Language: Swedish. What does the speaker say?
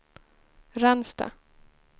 Ransta